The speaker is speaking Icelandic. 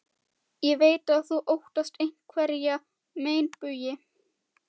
Ég veit að þú óttast einhverja meinbugi.